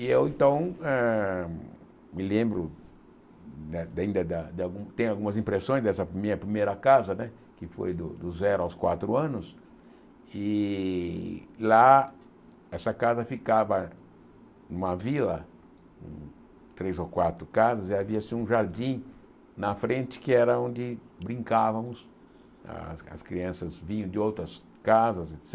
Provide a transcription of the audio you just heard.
E eu então eh me lembro, tenho algumas impressões dessa minha primeira casa né, que foi do zero aos quatro anos, e lá essa casa ficava numa vila, três ou quatro casas, e havia um jardim na frente que era onde brincávamos, as as crianças vinham de outras casas, et cétera